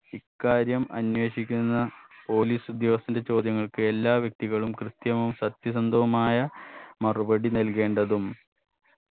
ഇക്കാര്യം അന്വേഷിക്കുന്ന police ഉദ്യോഗസ്ഥന്റെ ചോദ്യങ്ങൾക്ക് എല്ലാ വ്യക്തികളായും കൃത്യവും സത്യസന്ധവുമായ മറുപടി നൽകേണ്ടതും